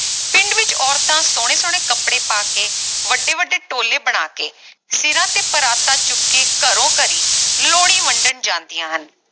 ਪਿੰਡ ਵਿਚ ਔਰਤਾਂ ਸੋਹਣੇ ਸੋਹਣੇ ਕਪੜੇ ਪਾ ਕੇ ਵੱਡੇ ਵੱਡੇ ਟੋਲੇ ਬਣਾ ਕੇ ਸਿਰਾਂ ਤੇ ਪਰਾਤਾਂ ਚੁੱਕ ਕੇ ਘਰੋਂ ਘਰੀ ਲੋਹੜੀ ਵੰਡਣ ਜਾਂਦੀਆਂ ਹਨ